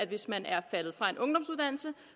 hvis man er faldet fra en ungdomsuddannelse